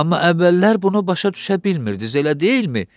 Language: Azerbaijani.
Amma əvvəllər bunu başa düşə bilmirdiniz, elə deyilmi?